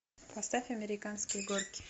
поставь американские горки